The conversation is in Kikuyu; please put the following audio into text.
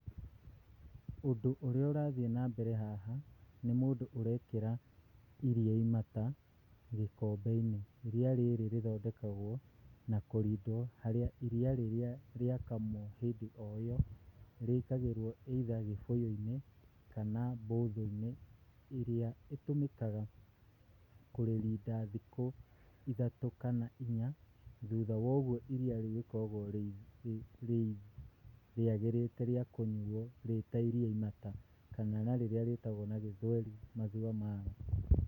Ũndũ ũrĩa ũrathiĩ nambere haha nĩ mũndũ ũrekĩra iria imata gĩkombe-inĩ. Iria rĩrĩ rĩthondekagwo na kũrindwo harĩa iria rĩrĩa rĩakamwo hĩndĩ o ĩyo, rĩkagĩrwo either gĩbũyũ-inĩ kana mbũthũ-inĩ ĩrĩa ĩtũmĩkaga kũrĩrinda thikũ ithatũ kana inya. Thutha wa ũguo iria rĩu rĩkoragwo rĩagĩrĩte rĩiria imata rĩa kũnyuwo, kana na rĩrĩa rĩtagwo na gĩthweri Maziwa Mala.